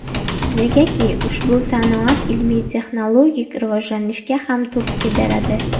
Negaki, ushbu sanoat ilmiy-texnologik rivojlanishga ham turtki beradi.